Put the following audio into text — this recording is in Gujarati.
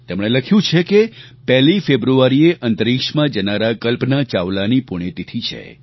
તેમણે લખ્યું છે કે 1 ફેબ્રુઆરીએ અંતરીક્ષમાં જનારાં કલ્પના ચાવલાની પુણ્યતિથિ છે